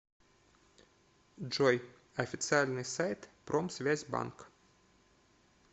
джой официальный сайт промсвязьбанк